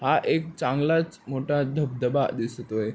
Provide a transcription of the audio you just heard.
हा एक चांगलाच मोठा धबधबा दिसतोय.